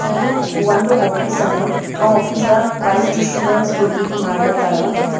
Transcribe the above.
ಇದು ಒಂದು ಆಫೀಸ್ ಅದ ಆ ಆಫೀಸ್ ದಾಗ್ ಪ್ರೈಸ್ ಡಿಸ್ಟ್ರಿಬ್ಯೂಷನ್ ಹುಡುಗೀದ್ ಮಾಡ್ಲತಾಳ.